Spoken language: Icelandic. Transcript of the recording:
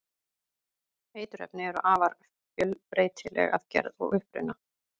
eiturefni eru afar fjölbreytileg að gerð og uppruna